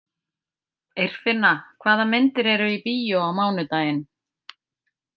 Eirfinna, hvaða myndir eru í bíó á mánudaginn?